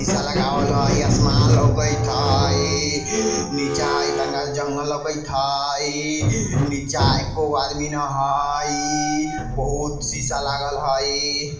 शीशा लगावल हई आसमान लौकइत हई नीचा हई टँगल जंगल लौकित हई। नीचा एकोगो आदमी न हई। बहुत शीशा लागल हई।